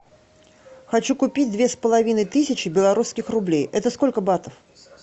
хочу купить две с половиной тысячи белорусских рублей это сколько батов